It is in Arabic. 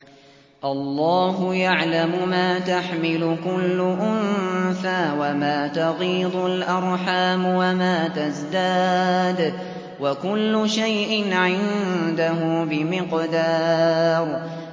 اللَّهُ يَعْلَمُ مَا تَحْمِلُ كُلُّ أُنثَىٰ وَمَا تَغِيضُ الْأَرْحَامُ وَمَا تَزْدَادُ ۖ وَكُلُّ شَيْءٍ عِندَهُ بِمِقْدَارٍ